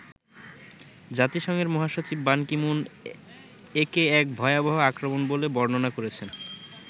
জাতিসংঘের মহাসচিব Ban Ki Moon একে 'এক ভয়াবহ আক্রমণ' বলে বর্ণনা করেছেন।